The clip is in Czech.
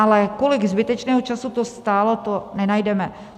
Ale kolik zbytečného času to stálo, to nenajdeme.